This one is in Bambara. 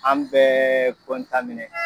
An bɛɛ .